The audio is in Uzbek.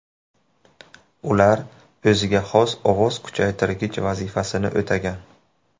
Ular o‘ziga xos ovoz kuchaytirgich vazifasini o‘tagan.